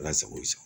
Ala sago i sago